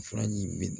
Furaji in mi